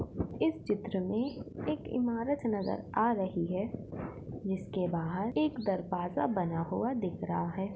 इस चित्र मे एक इमारत नज़र आ रही है इसके बाहर एक दरवाजा बना हुआ दिख रहा है।